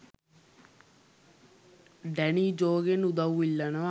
Danny ජෝගෙන් උදව් ඉල්ලනවා